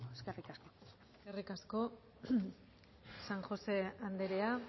eskerrik asko eskerrik asko san josé andrea